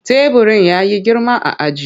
Teburin ya yi girma a ajin.